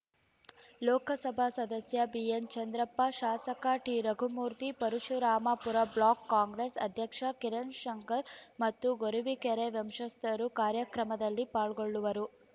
ಲೋಕಸಭಾ ಸದಸ್ಯ ಬಿಎನ್‌ ಚಂದ್ರಪ್ಪ ಶಾಸಕ T Raghumurthy Parashurampura block Congress ಅಧ್ಯಕ್ಷ ಕಿರಣ್‌ ಶಂಕರ್‌ ಮತ್ತು ಗೊರವಿಕೆರೆ ವಂಶಸ್ಥರು ಕಾರ್ಯಕ್ರಮದಲ್ಲಿ ಪಾಲ್ಗೊಳ್ಳುವರು